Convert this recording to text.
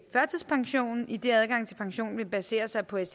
førtidspension idet adgangen til pension vil basere sig på et